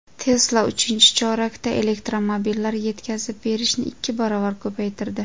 Tesla uchinchi chorakda elektromobillar yetkazib berishni ikki barobar ko‘paytirdi.